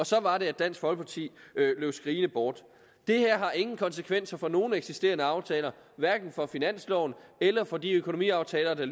så var det at dansk folkeparti løb skrigende bort det her har ingen konsekvenser for nogen eksisterende aftaler hverken for finansloven eller for de økonomiaftaler der